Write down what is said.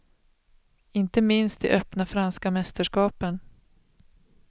Inte minst i öppna franska mästerskapen.